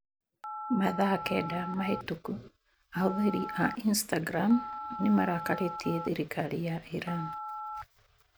Mathaa kenda mahĩtũku ahũthĩri a Instagram nĩ marakarĩtie thirikari ya Iran.